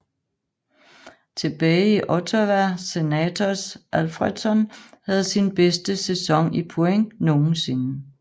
Tilbage i Ottawa Senators Alfredsson havde sin bedste sæson i point nogensinde